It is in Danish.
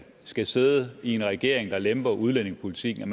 skal sidde i en regering der lemper udlændingepolitikken